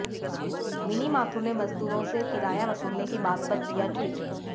mini Mathur ने मजदूरों से किराया वसूलने की बात पर किया ट्वीट